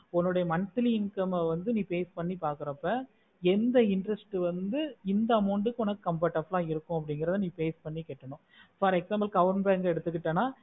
உன்னோட monthly income ஆஹ் வந்து நீ base பண்ணி பாக்குறப்ப எந்த interest வந்து இந்த amount கு comfortable ஆஹ் இருக்கோ அப்புடிகிறது base பண்ணி கேட்டுனோ for example நீ kawan branch எடுதுகுத்தன